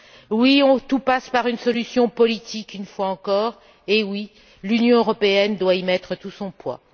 Oui, tout passe par une solution politique une fois encore et oui, l'Union européenne doit y mettre tout son poids.